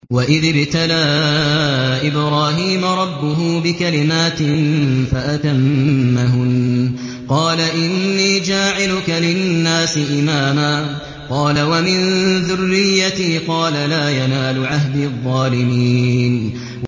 ۞ وَإِذِ ابْتَلَىٰ إِبْرَاهِيمَ رَبُّهُ بِكَلِمَاتٍ فَأَتَمَّهُنَّ ۖ قَالَ إِنِّي جَاعِلُكَ لِلنَّاسِ إِمَامًا ۖ قَالَ وَمِن ذُرِّيَّتِي ۖ قَالَ لَا يَنَالُ عَهْدِي الظَّالِمِينَ